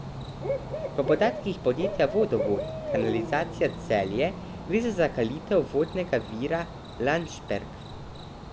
Po podatkih podjetja Vodovod kanalizacija Celje gre za zakalitev vodnega vira Landšperk.